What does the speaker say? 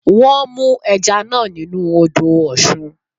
Wọ́n mú ẹja náà nínú u odò Ọ̀sun